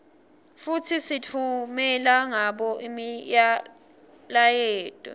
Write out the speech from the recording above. futsi sitfumela ngabo imiyaleto